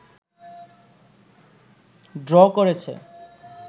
draw করেছে